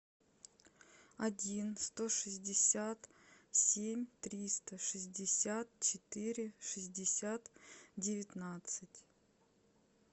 один сто шестьдесят семь триста шестьдесят четыре шестьдесят девятнадцать